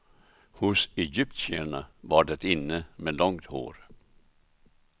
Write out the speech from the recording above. Hos egyptierna var det inne med långt hår.